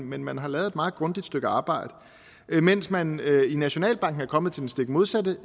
men man har lavet et meget grundigt stykke arbejde mens man i nationalbanken er kommet til den stik modsatte